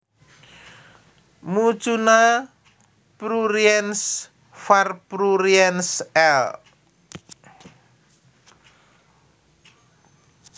Mucuna pruriens var pruriens L